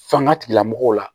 Fanga tigilamɔgɔw la